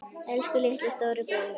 Elsku litli, stóri bróðir minn.